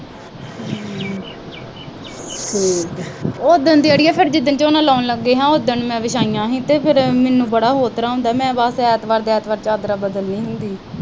ਉਹ ਦੀਆਂ ਜਿਹੜੀਆਂ ਝੋਨਾ ਲਾਉਣ ਲੱਗੇ ਆ, ਉਦਨ ਮੈਂ ਵਿਛਾਇਆ ਸੀ ਤੇ ਮੈਨੂੰ ਬੜਾ ਹੋਰ ਤਰ੍ਹਾਂ ਹੁੰਦਾ। ਮੈਂ ਐਤਵਾਰ ਦੀ ਐਤਵਾਰ ਚਾਦਰਾਂ ਬਦਲਦੀ ਆਂ।